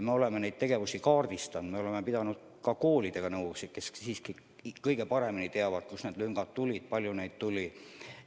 Me oleme neid tegevusi kaardistanud, oleme pidanud nõu ka koolidega, kes siiski kõige paremini teavad, kus need lüngad tekkisid ja kui palju neid tekkis.